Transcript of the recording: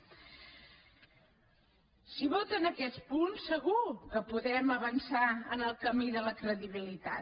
si voten aquests punts segur que podrem avançar en el camí de la credibilitat